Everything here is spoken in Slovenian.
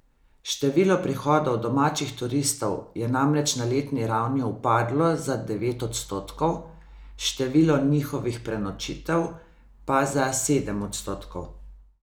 Število prihodov domačih turistov je namreč na letni ravni upadlo za devet odstotkov, število njihovih prenočitev pa za sedem odstotkov.